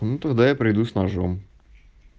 ну тогда я прийду с ножом